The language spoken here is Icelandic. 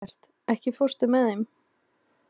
Eggert, ekki fórstu með þeim?